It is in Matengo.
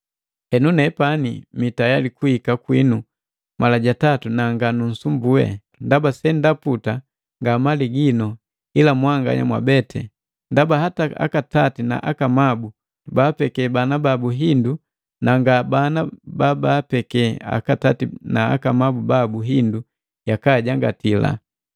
Henu nepani mii tayali kuhika kwinu mala jatatu na nganunsumbui. Ndaba sendaputa nga mali ginu, ila mwanganya mwabeti. Ndaba hata akatati na akamabu baabeke bana babu hindu na nga bana ba baabeke akatati na akamabu babu hindu yakajangati.